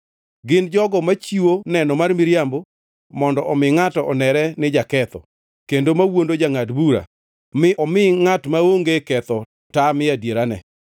gin jogo machiwo neno mar miriambo mondo omi ngʼato onere ni jaketho, kendo mawuondo jangʼad bura mi omi ngʼat maonge ketho tamie adierane.